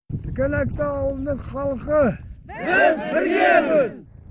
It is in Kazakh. тікенекті ауылының халқы біз біргеміз